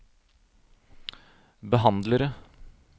behandlere